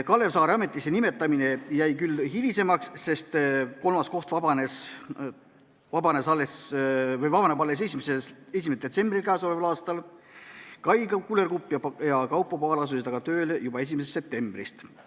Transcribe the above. Kalev Saare ametisse nimetamine jäi küll hilisemaks, sest kolmas koht vabaneb alles 1. detsembril k.a. Kai Kullerkupp ja Kaupo Paal asusid aga tööle juba 1. septembrist.